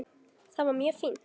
Það var mjög fínt.